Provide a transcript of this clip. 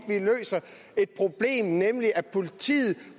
det et problem nemlig at politiet